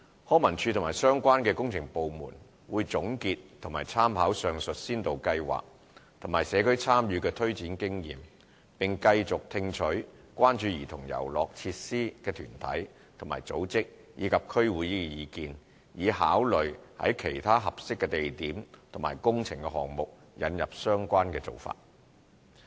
康文署及相關工程部門會總結及參考上述先導計劃和社區參與的推展經驗，並繼續聽取關注兒童遊樂設施的團體和組織，以及區議會的意見，以考慮在其他合適的地點及工程項目引入相關的做法。